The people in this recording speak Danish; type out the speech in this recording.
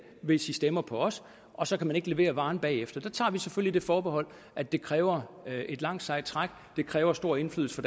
hvis i stemmer på os og så kan man ikke levere varen bagefter der tager vi selvfølgelig det forbehold at det kræver et langt sejt træk det kræver stor indflydelse